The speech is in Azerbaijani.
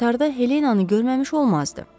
O qatarda Helenanı görməmiş olmazdı.